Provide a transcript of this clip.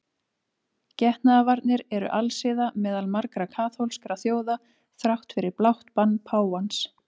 Getnaðarvarnir eru alsiða meðal margra kaþólskra þjóða þrátt fyrir blátt bann páfans.